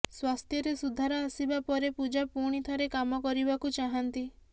ସ୍ବାସ୍ଥ୍ୟରେ ସୁଧାର ଆସିବା ପରେ ପୂଜା ପୁଣିଥରେ କାମ କରିବାକୁ ଚାହାନ୍ତି